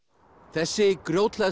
þessi